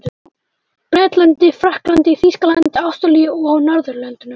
Bretlandi, Frakklandi, Þýskalandi, Ástralíu og á Norðurlöndum.